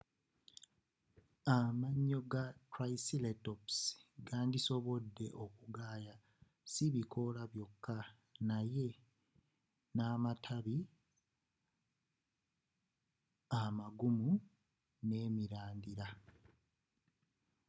amayo ga triceratops gandisobode okugaaya sibikoola byoka naye namatabi amagumu nemirandira